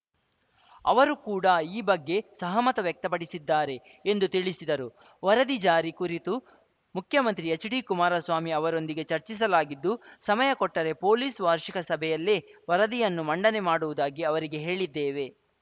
ಅವರು ಕೂಡ ಈ ಬಗ್ಗೆ ಸಹಮತ ವ್ಯಕ್ತಪಡಿಸಿದ್ದಾರೆ ಎಂದು ತಿಳಿಸಿದರು ವರದಿ ಜಾರಿ ಕುರಿತು ಮುಖ್ಯಮಂತ್ರಿ ಎಚ್‌ಡಿಕುಮಾರಸ್ವಾಮಿ ಅವರೊಂದಿಗೆ ಚರ್ಚಿಸಲಾಗಿದ್ದು ಸಮಯ ಕೊಟ್ಟರೆ ಪೊಲೀಸ್‌ ವಾರ್ಷಿಕ ಸಭೆಯಲ್ಲೇ ವರದಿಯನ್ನು ಮಂಡನೆ ಮಾಡುವುದಾಗಿ ಅವರಿಗೆ ಹೇಳಿದ್ದೇವೆ